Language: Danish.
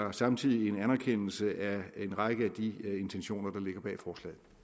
er samtidig en anerkendelse af en række af de intentioner der ligger bag forslaget